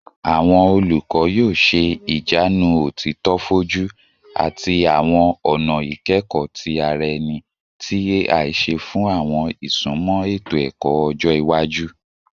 Awọn olukọ yoo ṣe ijanu otito foju ati awọn ọna ikẹkọ ti ara ẹni ti AI ṣe fun awọn isunmọ eto-ẹkọ ọjọ iwaju